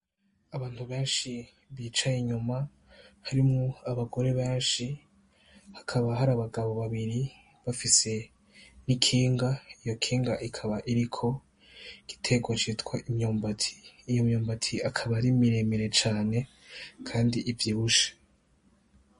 Abantu benshi bicaye inyuma harimwo abagore benshi, hakaba hari abagabo babiri bafise n'ikinga, iryo kinga rikaba ririko igiterwa citwa imyumbati. Iyo myumbati ikaba ari miremire cane kandi ivyibushe.